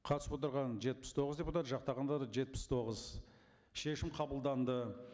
қатысып отырған жетпіс тоғыз депутат жақтағандар жетпіс тоғыз шешім қабылданды